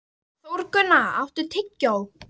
Þórgunna, áttu tyggjó?